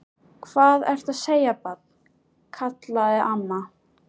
Hvað ertu að segja, barn? kallaði amma.